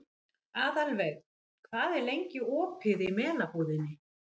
Aðalveig, hvað er lengi opið í Melabúðinni?